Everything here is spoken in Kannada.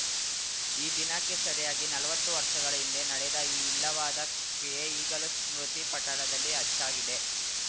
ಈ ದಿನಕ್ಕೆ ಸರಿಯಾಗಿ ನಲವತ್ತು ವರ್ಷಗಳ ಹಿಂದೆ ನಡೆದ ಈ ಇಲ್ಲವಾದ ಕ್ರಿಯೆ ಈಗಲೂ ಸ್ಮೃತಿ ಪಟಲದಲ್ಲಿ ಅಚ್ಚಾಗಿದೆ